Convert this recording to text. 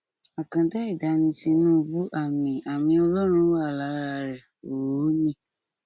àkàndá ẹdá ni tinúbù àmì àmì ọlọrun wà lára rẹ òónì